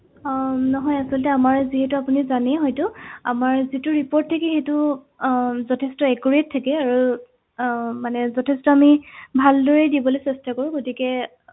আহ নহয় আচলতে আমাৰ যিহেতু আপুনি জানেই হয়তো আমাৰ যিটো report থাকে সেইটো আহ যথেষ্ট accurate থাকে আৰু আহ মানে যথেষ্ট আমি ভালদৰে দিবলে চেষ্টা কৰো গতিকে